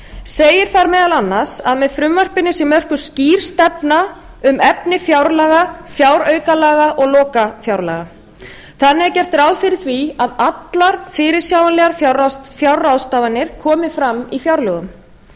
segir þar meðal annars að með frumvarpinu sé mörkuð skýr stefna um efni fjárlaga fjáraukalaga og lokafjárlaga þannig er gert ráð fyrir því að allar fyrirsjáanlegar fjárráðstafanir komi fram í fjárlögum